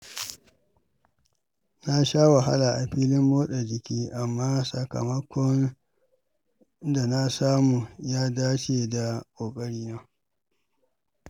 Na sha wahala a filin motsa jiki, amma sakamakon da na samu ya dace da ƙoƙarina.